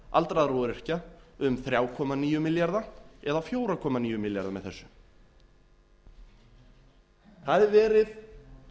aldraðra og öryrkja um þrjú komma níu milljarða eða fjögur komma níu milljarða með þessu það er verið